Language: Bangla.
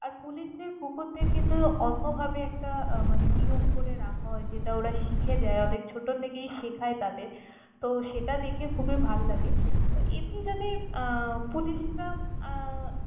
আর পুলিশদের কুকুরদের কিন্তু অন্যভাবে একটা আহ মানে নিয়ম করে রাখা হয় যেটা ওরা শিখে যায়, অনেক ছোটর থেকেই শেখায় তাদের তহ সেটা দেখে খুবী ভাল লাগে। এমনি যদি আহ পুলিশরা আহ